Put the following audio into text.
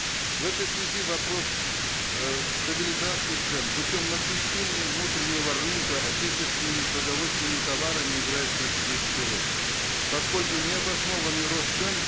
в этой связи вопрос э стабилизации цен путем насыщения внутреннего рынка отечественными продовольственными товарами играет стратегическую роль поскольку необоснованный рост цен